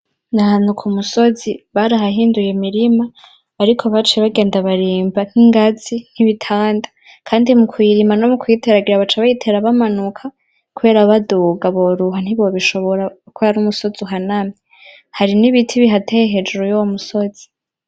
Nahanuka musozi bari hahinduye mirima, ariko bacuy bagenda barimba nk'ingazi nkibitanda, kandi mu kwirima no mu kuyiteragira baca bayitera bamanuka, kubera baduga boruha ntibobishobora ko yari umusozi uhanamye, hari n'ibiti bihateye hejuru y'owo musozi.